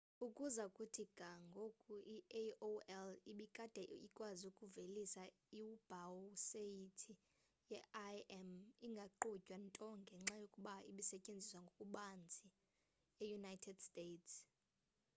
ukuza kuthi ga ngoku i-aol ibikade ikwazi ukuvelisa iwebhusayithi ye-im ingaqhutywa nto ngenxa yokuba ibisetyenziswa ngokubanzi eunited states